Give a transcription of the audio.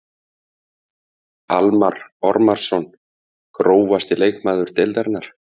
Almarr Ormarsson Grófasti leikmaður deildarinnar?